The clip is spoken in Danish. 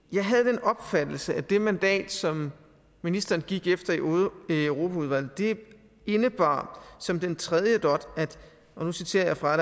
jeg havde den opfattelse at det mandat som ministeren gik efter i europaudvalget indebar som den tredje dot og nu citerer jeg fra